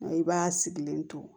I b'a sigilen to